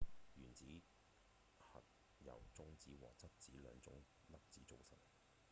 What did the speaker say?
原子核由中子和質子兩種粒子組成